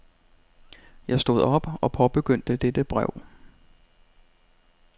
Jeg stod op og påbegyndte dette brev.